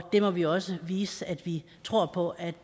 må vi også vise at vi tror på at